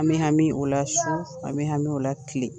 An bɛ hami o la su , an bɛ hami o la tile.